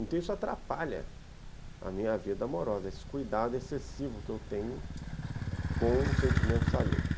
Então isso atrapalha a minha vida amorosa, esse cuidado excessivo que eu tenho com os sentimentos alheios.